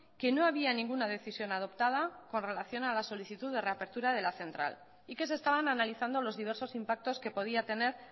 que no había ninguna decisión adoptada con relación a la solicitud de reapertura de la central y que se estaban analizando los diversos impactos que podía tener